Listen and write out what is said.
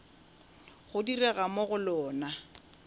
go direga mo go lona